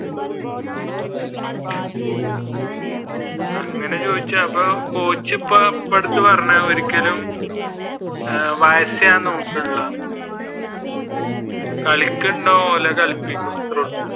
അങ്ങനെ ചോദിച്ചാൽ അപ്പോ കോച്ച് ഇപ്പൊ എടുത്തുപറഞ്ഞു ഒരിക്കലും അഹ് വയസ്സ് ഞാൻ നോക്കുന്നില്ല എന്ന് കളിക്കുന്നുണ്ടോ എങ്കിൽ കളിപ്പിക്കും അത്രോള്ളു.